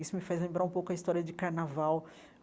Isso me faz lembrar um pouco a história de carnaval.